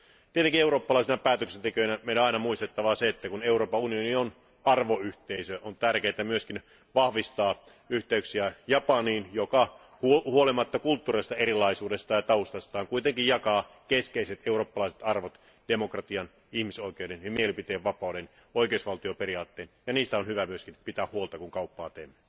Tietenkin eurooppalaisina päätöksentekijöinä meidän on aina muistettava se, että kun Euroopan unioni on arvoyhteisö, on tärkeää myös vahvistaa yhteyksiä Japaniin, joka huolimatta kulttuurillisesta erilaisuudesta ja taustastaan kuitenkin jakaa keskeiset eurooppalaiset arvot demokratian, ihmisoikeuden, mielipiteenvapauden ja oikeusvaltioperiaatteen, ja niistä on hyvä myös pitää huolta kun kauppaa teemme.